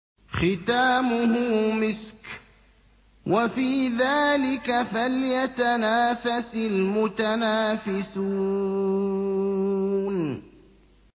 خِتَامُهُ مِسْكٌ ۚ وَفِي ذَٰلِكَ فَلْيَتَنَافَسِ الْمُتَنَافِسُونَ